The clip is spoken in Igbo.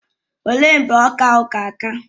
Ọ léé mgbe ọka ahụ ga-aka?